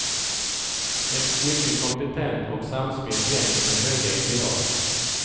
Ett mycket kompetent och samspelt gäng med höga ideal.